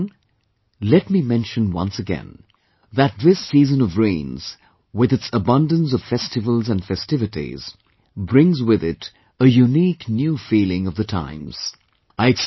My dear countrymen, let me mention once again, that this Season of Rains, with its abundance of festivals and festivities, brings with it a unique new feeling of the times